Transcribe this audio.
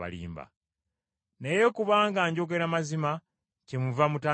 Naye kubanga njogera mazima kyemuva mutanzikiriza.